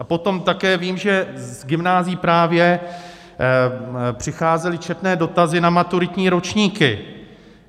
A potom také vím, že z gymnázií právě přicházely četné dotazy na maturitní ročníky.